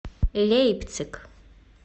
лейпциг